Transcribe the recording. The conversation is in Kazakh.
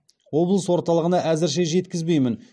облыс орталығына әзірше жеткізбеймін